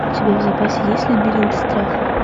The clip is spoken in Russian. у тебя в запасе есть лабиринт страха